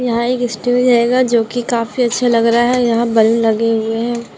यहाँ एक स्टेज आयेगा जो की काफी अच्छा लग रहा है यहाँ बलून लगे हुए है।